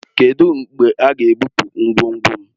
Kedụ mgbe a ga-ebupu ngwongwo m?